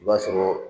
I b'a sɔrɔ